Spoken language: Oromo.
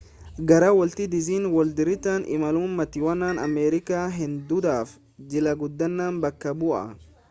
gara woolti diiznii woorliditti imaluun maatiiwwan ameerikaa hedduudhaaf jila guddaa bakka bu'a